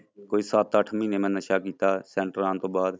ਕੋਈ ਸੱਤ ਅੱਠ ਮਹੀਨੇ ਮੈਂ ਨਸ਼ਾ ਕੀਤਾ ਸੈਂਟਰਾਂ ਆਉਣ ਤੋਂ ਬਾਅਦ,